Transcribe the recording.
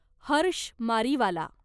Harsh Mariwala